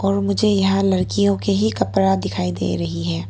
मुझे यहां लड़कियों के ही कपड़ा दिखाई दे रही है।